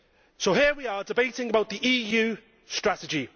So here we are, debating the EU strategy.